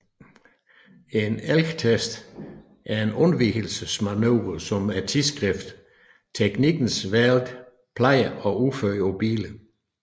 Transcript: En elgtest er en undvigelsesprøve som tidsskriftet Teknikens Värld plejer at udføre på biler